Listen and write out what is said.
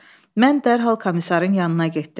Mən dərhal komissarın yanına getdim.